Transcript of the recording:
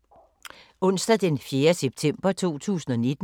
Onsdag d. 4. september 2019